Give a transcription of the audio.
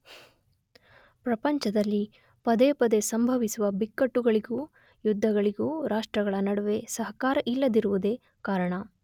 ಪ್ರಪಂಚದಲ್ಲಿ ಪದೇ ಪದೇ ಸಂಭವಿಸುವ ಬಿಕ್ಕಟ್ಟುಗಳಿಗೂ ಯುದ್ಧಗಳಿಗೂ ರಾಷ್ಟ್ರಗಳ ನಡುವೆ ಸಹಕಾರ ಇಲ್ಲದಿರುವುದೇ ಕಾರಣ.